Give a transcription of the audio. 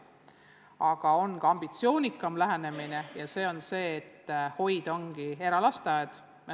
Aga on ka ambitsioonikam lähenemine: et hoid on lihtsalt eralasteaed.